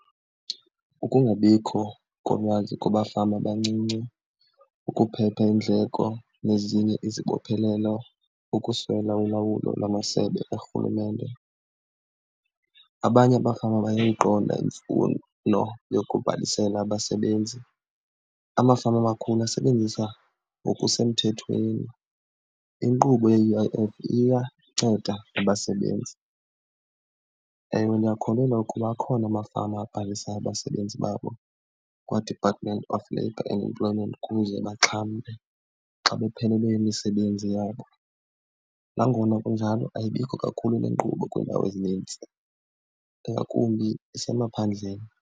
Ukungabikho kolwazi kubafama abancinci, ukuphepha iindleko nezinye izibophelelo, ukuswela ulawulo lamasebe karhulumente. Abanye abafama bayayiqonda imfuno yokubhalisela abasebenzi. Amafama amakhulu asebenzisa ngokusemthethweni inkqubo ye-U_I_F, iyanceda nabasebenzi. Ewe, ndiyakholelwa ukuba akhona amafama abhalisayo abasebenzi babo kwaDepartment of Labour and Employment ukuze baxhamle xa baphelelwe yimisebenzi yabo. Nangona kunjalo ayibikho kakhulu le nkqubo kwiindawo ezinintsi, ingakumbi esemaphandleni.